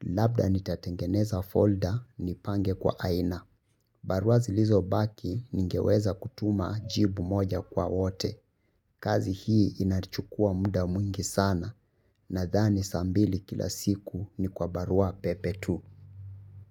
Labda nitatengeneza folder nipange kwa aina. Barua zilizobaki ningeweza kutuma jibu moja kwa wote. Kazi hii inachukua muda mwingi sana. Nadhani saa mbili kila siku ni kwa barua pepe tu.